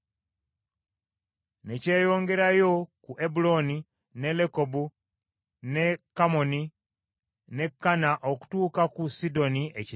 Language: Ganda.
Ne kyeyongerayo ku Ebuloni ne Lekobu ne Kammoni ne Kana okutuuka ku Sidoni Ekinene.